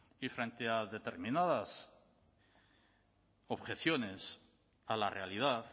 y frente a determinadas objeciones a la realidad